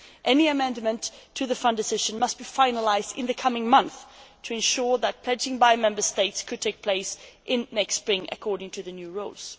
Any amendment to the fund decision must be finalised in the coming month to ensure that pledging by Member States could take place next spring under the new rules.